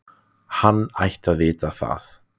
Hann ætti að vita það.